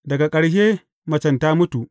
Daga ƙarshe, macen ta mutu.